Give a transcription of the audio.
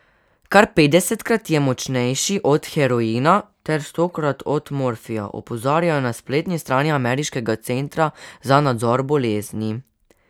Kar petdesetkrat je močnejši od heroina ter stokrat od morfija, opozarjajo na spletni strani ameriškega Centra za nadzor bolezni.